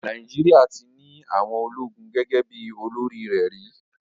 Nàìjíríà ti ní àwọn ológun gẹ́gẹ́ bí olórí rẹ̀ rí.